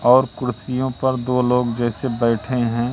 और कुर्सियों पर दो लोग जैसे बैठे हैं।